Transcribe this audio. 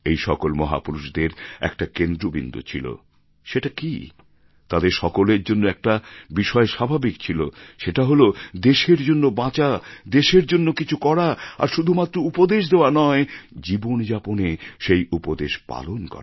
এই সকল মহাপুরুষদের একটা কেন্দ্রবিন্দু ছিল সেটা কি তাঁদের সকলের জন্য একটা বিষয় স্বাভাবিক ছিল সেটা হল দেশের জন্য বাঁচা দেশের জন্য কিছু করা আর শুধুমাত্র উপদেশ দেওয়া নয় জীবন যাপনে সেই উপদেশ পালন করা